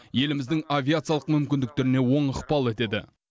еліміздің авиациялық мүмкіндіктеріне оң ықпал етеді